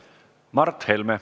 Mart Helme.